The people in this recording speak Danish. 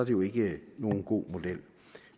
jo ikke nogen god model